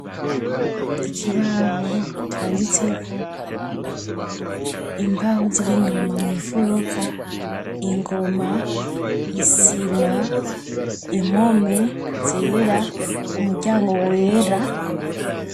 Ikibaho canditseko, imbaho ziri inyuma mw'ifuruka, ingoma, isima, impome zera, umuryango wera.